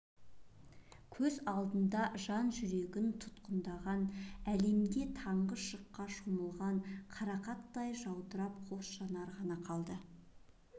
көз алдында жан жүрегін тұтқындаған әлемде таңғы шыққа шомылған қарақаттай жаудырап қос жанар ғана қалды